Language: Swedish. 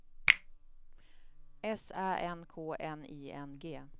S Ä N K N I N G